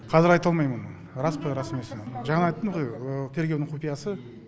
қазір айта алмаймын оны рас па рас емес пе жаңа айттым ғой тергеудің құпиясы